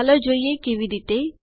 ચાલો જોઈએ કેવી રીતે